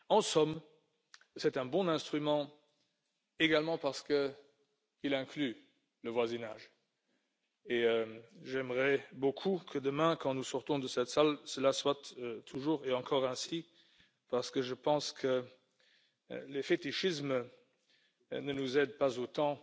En somme, c'est un bon instrument également parce qu'il inclut le voisinage et j'aimerais beaucoup que demain, quand nous serons sortis de cette salle, cela soit toujours et encore ainsi parce que je pense que les fétichismes ne nous aident pas autant